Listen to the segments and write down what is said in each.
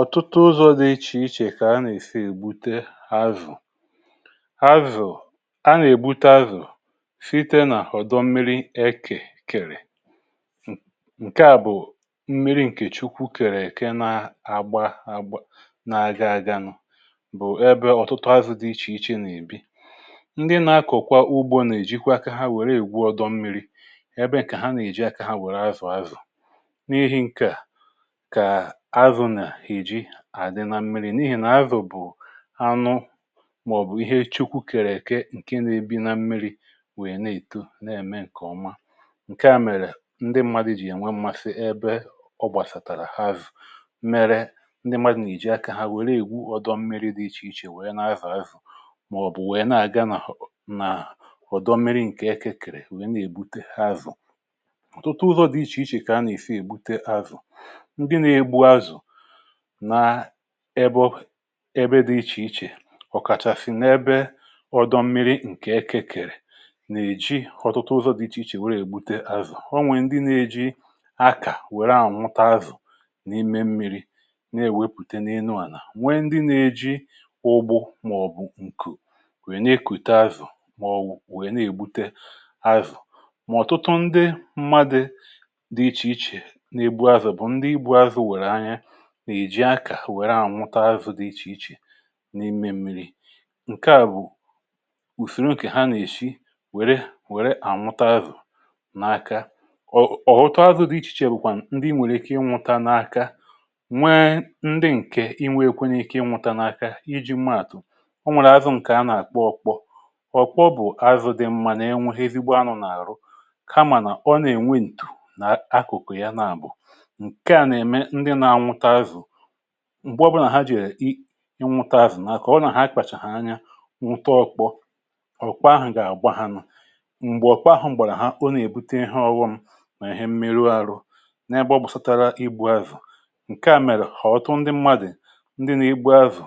ọ̀tụtụ ụzọ̇ dị iche iche kà a nà-èsi ègbute azụ̀. azụ̀ a nà-ègbute síte n’àhọ̀dọ mmiri e kèkèrè, ǹkè à bụ̀ mmiri ǹkè chukwu kèrè èke, na-agba agbà na-aga aganụ bụ̀ ẹbẹ ọ̀tụtụ azụ̇ dị iche iche nà-èbi. ndị nà-akọ̀kọ̀ ugbȯ nà-èjikwa aka ha wère ègwu ọdọ mmiri, ẹbẹ̀nke ha nà-èji aka ha wère azụ̀ azụ̀ n’ihi ǹkè à àdị nà mmiri̇ n’ihi nà azụ̀ bụ̀ anụ, màọ̀bụ̀ ihe chukwu kèrè ke ǹkè na-ebi nà mmiri̇, wèe na-èto, na-ème ǹkè ọma. ǹkè à mèrè ndị mmadụ̇ jì ya nwee mmasị ebe ọ gbàsàtàrà ha zụ̀, mere ndị mmadụ̀ nà-èji akȧ hȧ wèe na-ègwu ọ̀dọ mmiri̇ dị iche iche, wèe na-azà azụ̀, màọ̀bụ̀ wèe na-àga nà hụ nà ọ̀dọ mmiri̇ ǹkè eke kèrè wèe na-èbute ha zụ̀. ọ̀tụtụ ụzọ̇ dị iche iche kà a nà-èfe èbute azụ̀ n’ebe obė, ebe dị̇ iche iche. ọ̀kàchàsị̀ n’ebe ọdọ̇ mmiri ǹkè ekekèrè, nà-èji ọ̀tụtụ ụzọ̇ dị iche iche wèrè ègbute azụ̀. ọ nwè ndị nà-eji akà wère ahụ̀ nwute azụ̀ n’ime mmiri na-èwepùte n’elu àlà, nwekwazị ndị nà-èji ụgbụ màọ̀bụ̀ ǹkù, nwe nà-ekute azụ̀. màọ̀bụ̀ nà-ègbute azụ̀, ọ̀tụtụ ndị mmadụ̇ dị iche iche nà-ebu azụ̀, bụ̀ ndị èji akȧ wère ànwụta azụ̇ dị iche iche n’ime èmmiri. ǹkè à bụ̀ ùsòrò ǹkè ha nà-èshi wère ànwụta azụ̀ n’aka. ọ̀hụtụ azụ̇ dị iche iche bụ̀kwà ndị nwèrè ike ịnwụta n’aka, nwe ndị ǹkè inwe ekwenye ike ịnwụta n’aka iji̇ gbaa àtụ̀. o nwèrè azụ̇ ǹkè a nà-àkpọ okpò ọ̀kwọ, bụ̀ azụ̇ dị mmȧ nà enwe ihe èzigbo anụ̇ n’àhụ, kamà nà ọ nà-ènwe ǹtụ̀ nà akụ̀kụ̀ ya nà àbụ m̀gbọ̀bụnà. ha jìrì i nwute azụ̀ nà akà, ọ nà ha kpàchàhà anya nwụta okpò ọ̀kwa ahụ̀, gà-àgba ha nụ̇ m̀gbè ọ̀kwa ahụ̀ m̀gbèrè ha, ọ nà-èbute ihe ọgwọṅ mà ihe mmerụ ahụ. n’egbȯgbù satara igbu azụ̀, ǹkè à mèrè hà ọtụtụ ndị mmadụ̀, ndị nà-igbu azụ̀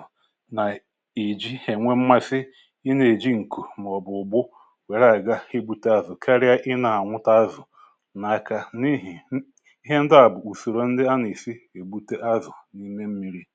nà-èji ènwe mmasi ịnà-èji ǹkù màọ̀bụ̀ ụ̀gbụ wèrè ànyị̀ga igbute azụ̀ karịa ịnà ànwute azụ̀ n’aka n’ihi ihe ndị à bụ̀ ùsìrì. ǹkè à bụ̀kwa ụzọ̇ ọma nà-èlite ọrụ ndị nà-egbu azụ̀ n’òbòdo dị iche iche.